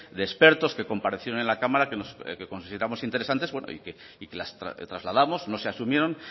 de expertos que comparecieron en la cámara que consideramos interesantes bueno y que las trasladamos no se asumieron